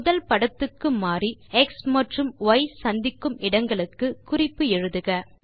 முதல் படத்துக்கு மாறி எக்ஸ் மற்றும் ய் சந்திக்கும் இடங்களுக்கு குறிப்பு எழுதுக